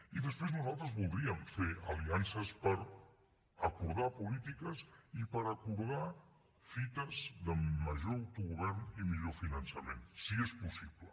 i després nosaltres voldríem fer aliances per acordar polítiques i per acordar fites de major autogovern i millor finançament si és possible